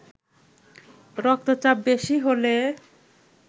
রক্তচাপ বেশি হলে